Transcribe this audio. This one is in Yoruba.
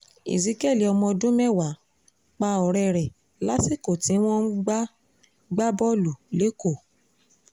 ezekiel ọmọ ọdún mẹ́wàá pa ọ̀rẹ́ rẹ̀ lásìkò tí wọ́n ń gbá gbá bọ́ọ̀lù lẹ́kọ̀ọ́